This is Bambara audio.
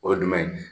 O ye jumɛn ye